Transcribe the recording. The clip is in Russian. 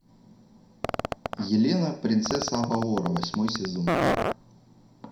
елена принцесса авалора восьмой сезон